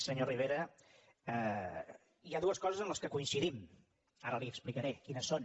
senyor rivera hi ha dues coses en les quals coincidim i ara li explicaré quines són